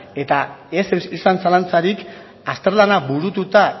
eta ez izan zalantzarik azterlana burututa